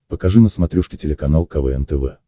покажи на смотрешке телеканал квн тв